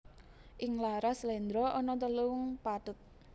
Ing laras sléndra ana telung pathet